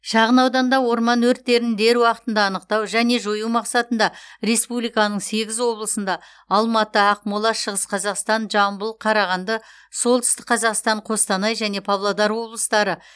шағын ауданда орман өрттерін дер уақытында анықтау және жою мақсатында республиканың сегіз облысында алматы ақмола шығыс қазақстан жамбыл қарағанды солтүстік қазақстан қостанай және павлодар облыстары